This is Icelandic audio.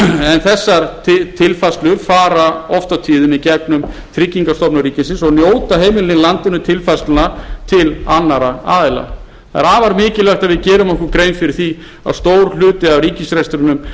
en þessar tilfærslur fara oft á tíðum í gegnum tryggingastofnun ríkisins og njóta heimilin í landinu tilfærslna til annarra aðila það er afar mikilvægt að við gerum okkur grein fyrir því að stór hluti af ríkisrekstrinum